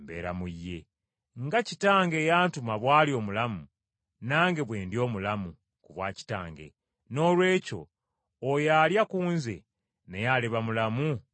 Nga Kitange eyantuma bw’ali omulamu, nange bwe ndi omulamu ku bwa Kitange, noolwekyo oyo alya ku nze naye aliba mulamu ku bwange.